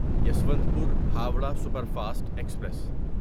Yesvantpur Howrah superfast express